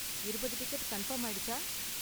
இருபது ticket confirm ஆயிடுச்சா?